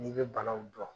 N'i bɛ banaw dɔn